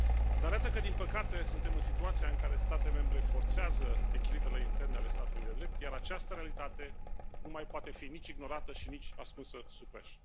Dar iată că, din păcate, suntem în situația în care state membre forțează echilibrele interne ale statului de drept, iar această realitate nu mai poate fi nici ignorată și nici ascunsă sub preș!